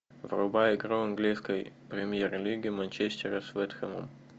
врубай игру английской премьер лиги манчестера с вест хэмом